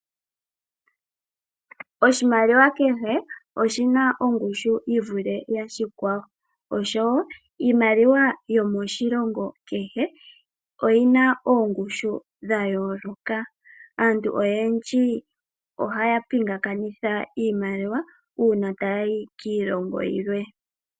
Oshimaliwa kehe oshina ongushu yi vule yoshikwawo, osho wo iimaliwa yomoshilongo kehe oyina oongushu dha yooloka. Aantu oyendji ohaya pingakanitha iimaliwa uuna taya yi kiilongo yilwe.